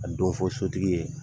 A le dɔn fɔ sotigi ye